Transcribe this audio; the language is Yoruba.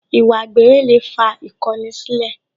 Ìwà àgbèrè lè fa ìkọni sílẹ̀